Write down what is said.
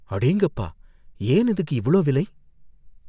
அடேங்கப்பா! ஏன் இதுக்கு இவ்ளோ விலை?